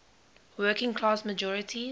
working class majorities